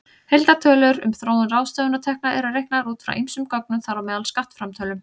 Heildartölur um þróun ráðstöfunartekna eru reiknaðar út frá ýmsum gögnum, þar á meðal skattframtölum.